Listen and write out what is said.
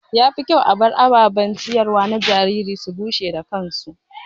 Ya fi kyau a bar ababen ciyarwa na jariri su bushe da kansu.